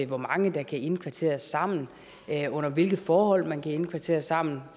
hvor mange der kan indkvarteres sammen under hvilke forhold man kan indkvarteres sammen